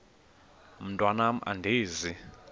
mntwan am andizi